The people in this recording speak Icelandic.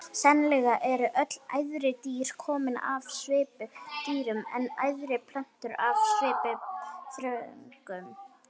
Sennilega eru öll æðri dýr komin af svipudýrum en æðri plöntur af svipuþörungum.